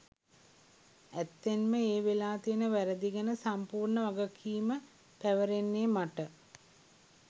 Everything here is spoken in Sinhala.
ඇත්තෙන්ම ඒ වෙලා තියෙන වැ‍රැදි ගැන සම්පූර්ණ වගකීම පැවරෙන්නේ මට.